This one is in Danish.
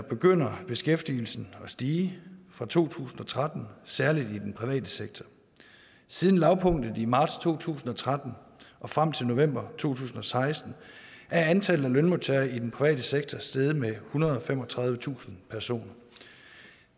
begynder beskæftigelsen at stige fra to tusind og tretten særlig i den private sektor siden lavpunktet i marts to tusind og tretten og frem til november to tusind og seksten er antallet af lønmodtagere i den private sektor steget med ethundrede og femogtredivetusind personer